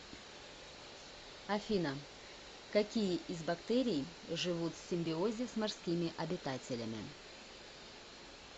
афина какие из бактерий живут в симбиозе с морскими обитателями